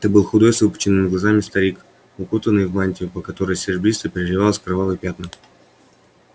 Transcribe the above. это был худой с выпученными глазами старик укутанный в мантию по которой серебристо переливались кровавые пятна